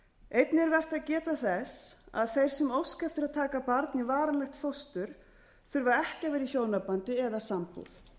einnig er vert að geta þess að þeir sem óska eftir að taka barn í varanlegt fóstur þurfa ekki að vera í hjónabandi eða sambúð